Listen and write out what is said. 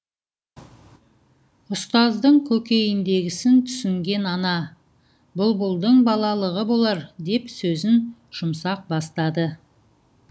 ұстаздың көкейіндегісін түсінген ана бұлбұлдың балалығы болар деп сөзін жұмсақ бастады